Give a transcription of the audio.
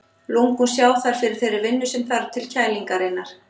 Lungun sjá þar fyrir þeirri vinnu sem þarf til kælingarinnar.